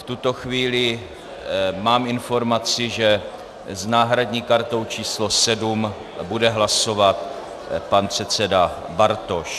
V tuto chvíli mám informaci, že s náhradní kartou číslo 7 bude hlasovat pan předseda Bartoš.